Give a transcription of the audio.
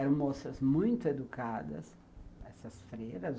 Eram moças muito educadas, essas freiras.